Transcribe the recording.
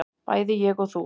bæði ég og þú.